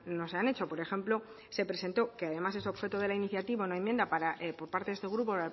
no se han hecho por ejemplo se presentó que es objeto de la iniciativa una enmienda por parte de este grupo